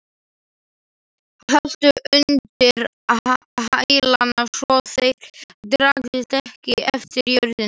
Haltu undir hælana svo þeir dragist ekki eftir jörðinni.